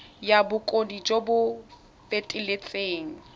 ya bokgoni jo bo feteletseng